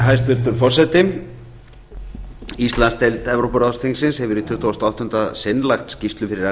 hæstvirtur forseti íslandsdeild evrópuráðsþingið hefur í tuttugasta og áttunda sinn lagt skýrslu fyrir